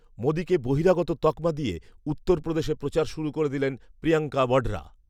মোদীকে বহিরাগত তকমা দিয়ে উত্তরপ্রদেশে প্রচার শুরু করে দিলেন প্রিয়াঙ্কা বঢ়রা